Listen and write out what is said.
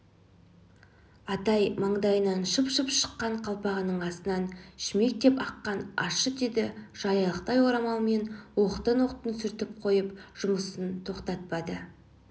атай маңдайынан шып-шып шыққан қалпағының астынан шүмектеп аққан ащы терді жаялықтай орамалымен оқтын-оқтын сүртіп қойып жұмысын тоқтатпады